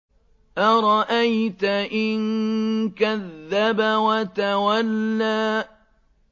أَرَأَيْتَ إِن كَذَّبَ وَتَوَلَّىٰ